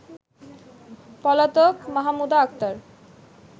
পলাতক মাহমুদা আক্তার